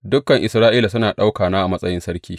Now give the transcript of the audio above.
Dukan Isra’ila suna ɗaukana a matsayin sarki.